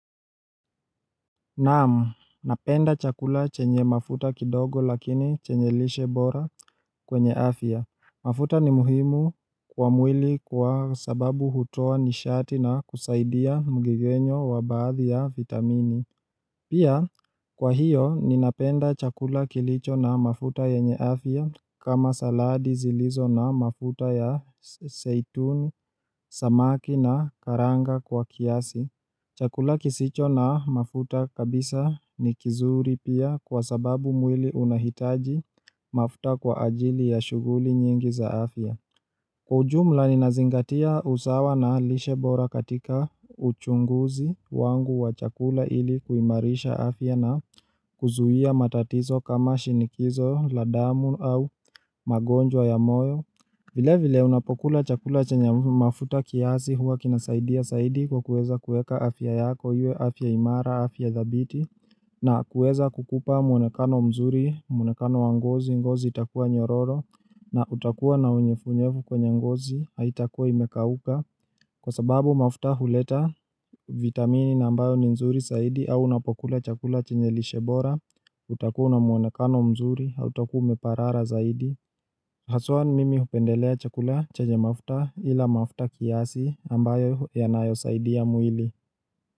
Naamu, napenda chakula chenye mafuta kidogo lakini chenye lishe bora kwenye afya. Mafuta ni muhimu kwa mwili kwa sababu hutoa nishati na kusaidia mgigenyo wa baadhi ya vitamini. Pia, kwa hiyo, ninapenda chakula kilicho na mafuta yenye afya kama saladi zilizo na mafuta ya seituni, samaki na karanga kwa kiasi. Chakula kisicho na mafuta kabisa nikizuri pia kwa sababu mwili unahitaji mafuta kwa ajili ya shuguli nyingi za afya. Kwa ujumla ninazingatia usawa na lishe bora katika uchunguzi wangu wa chakula ili kuimarisha afya na kuzuhia matatizo kama shinikizo, la damu au magonjwa ya moyo. Vile vile unapokula chakula chenye mafuta kiasi hua kinasaidia saidi kwa kueza kueka afya yako, iwe afya imara, afya dhabiti, na kueza kukupa mwonekano mzuri, mwonekano wa ngozi, ngozi itakuwa nyororo, na utakuwa na unyefunyefu kwenye ngozi, haitakuwa imekauka, kwa sababu mafuta huleta vitamini na ambayo ni nzuri saidi, au unapokula chakula chenye lishe bora, utakuwa na mwonekano mzuri, hautakuwa umeparara zaidi. Haswa mimi hupendelea chakula chanye mafuta ila mafuta kiasi ambayo yanayo saidia mwili.